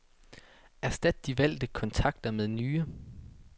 Erstat de valgte kontakter med nye.